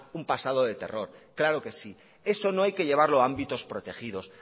un pasado de terror claro que sí eso no hay que llevarlo a ámbitos protegidos